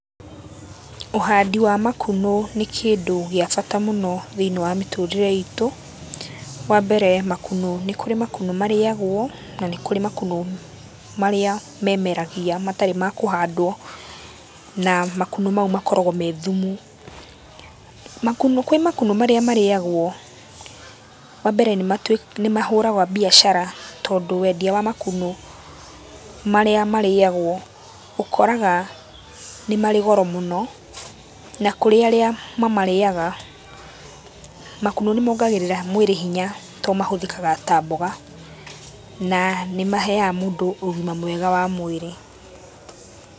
Ũhandi wa makunũ nĩ kĩndũ gĩa bata mũno thĩiniĩ wa mĩtũrĩre itũ. Wambere makunũ, nĩ kũrĩ makunũ marĩagũo, na nĩ kũrĩ makunũ marĩa memeragia matarĩ ma kũhandwo, na makunũ mau makoragwo me thumu. Makunũ kwĩ makunũ marĩa marĩagũo, wambere nĩmahũraga mbiacara tondũ wendĩa wa makunũ marĩa marĩagũo, ũkoraga nĩmarĩ goro mũno, na kũrĩ arĩa mamarĩaga makunũ nĩmongagĩrĩra hinya, tondũ mahũthĩkaga ta mboga na nĩmaheaga mũndũ ũgima mwega wa mwĩrĩ.